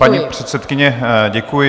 Paní předsedkyně, děkuji.